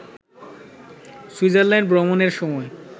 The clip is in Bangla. সুইজারল্যাণ্ড ভ্রমণের সময়